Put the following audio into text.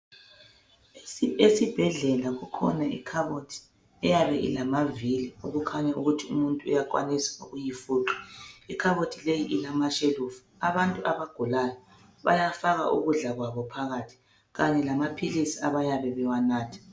Esibhedlela kukhona ikhabothi eyabe ilamaviri okokuthi umuntu uyakwanisa ukuyifuqa ikhabothi leyi ilamashelufu abantu abagulayo bayafaka ukudla kwabo phakathi lamaphilisi abayabe bewanatha